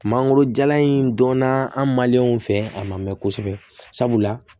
Mangoro jalan in donna an fɛ a man mɛn kosɛbɛ sabula